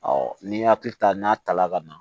n'i y'a hakili ta n'a ta la ka na